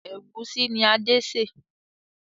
Ẹ̀gúsí ni Adé sè